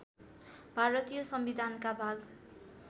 भारतीय संविधानका भाग